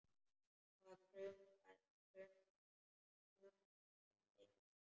Það kumraði í honum.